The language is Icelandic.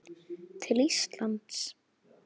til Íslands?